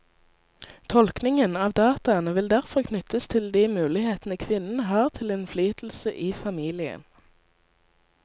Tolkningen av dataene vil derfor knyttes til de mulighetene kvinnen har til innflytelse i familien.